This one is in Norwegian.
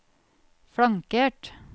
flankert